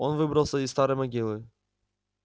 он выбрался из старой могилы